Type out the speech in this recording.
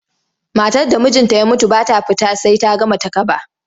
Matar da mijinta ya mutu ba ta fita sai ta gama takaba.